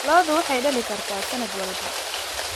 Ladu waxay dhali kartaa sanad walba.